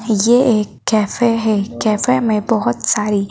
ये एक कैफे हैं कैफे में बहोत सारी --